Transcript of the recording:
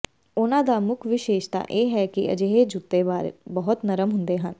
ਉਨ੍ਹਾਂ ਦਾ ਮੁੱਖ ਵਿਸ਼ੇਸ਼ਤਾ ਇਹ ਹੈ ਕਿ ਅਜਿਹੇ ਜੁੱਤੇ ਬਹੁਤ ਨਰਮ ਹੁੰਦੇ ਹਨ